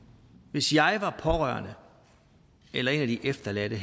hvis jeg var pårørende eller en af de efterladte